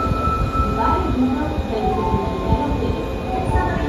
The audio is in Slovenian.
Zdaj je videl, da jih je preživelo petdeset.